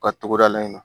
U ka togoda la yen nɔ